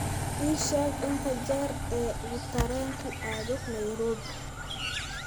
ii sheeg inta jeer ee uu tareenku aado nairobi